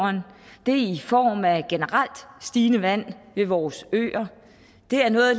det er i form af generelt stigende vandstand ved vores øer det er noget